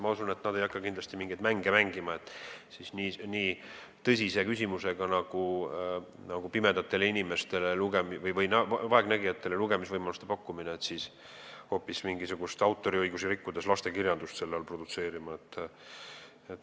Ma usun, et nad ei hakka kindlasti mingeid mänge mängima nii tõsise küsimusega nagu pimedatele inimestele või vaegnägijatele lugemisvõimaluste pakkumine, et autoriõigusi rikkudes hoopis lastekirjandust selle nime all produtseerida.